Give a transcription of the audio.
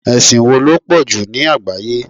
Ẹ̀sìn wo ló pọ̀jù ní àgbáyé?